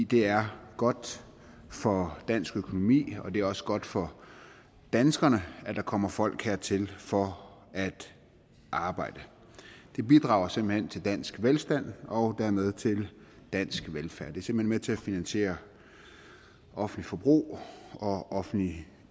det er godt for dansk økonomi og det er også godt for danskerne at der kommer folk hertil for at arbejde det bidrager simpelt hen til dansk velstand og dermed til dansk velfærd det er simpelt med til at finansiere offentligt forbrug og offentlige